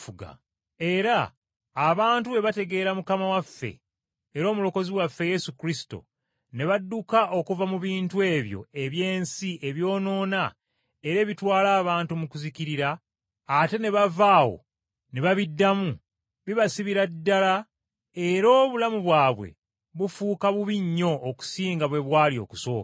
Era abantu bwe bategeera Mukama waffe era Omulokozi waffe Yesu Kristo, ne badduka okuva mu bintu ebyo eby’ensi ebyonoona era ebitwala abantu mu kuzikirira, ate ne bava awo ne babiddamu, bibasibira ddala era obulamu bwabwe bufuuka bubi nnyo okusinga bwe bwali okusooka.